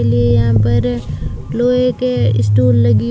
इसलिए यहां पर लोहे के स्टूल लगी--